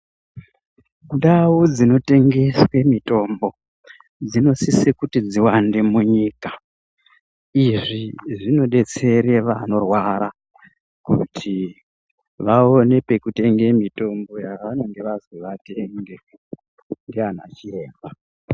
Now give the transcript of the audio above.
Ndau dzinotengeswe mitombo, dzinosise kuti dziwande munyika, izvi zvinodetsere vanorwara, kuti vawone pekutenge mitombo yavanenge vazi vatenge, ngaana chiremba.